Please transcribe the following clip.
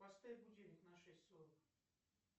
поставь будильник на шесть сорок